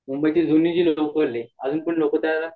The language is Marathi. मुंबई